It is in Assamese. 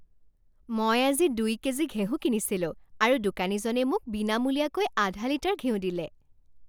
মই আজি দুই কেজি ঘেঁহু কিনিছিলোঁ আৰু দোকানীজনে মোক বিনামূলীয়াকৈ আধা লিটাৰ ঘিউ দিলে।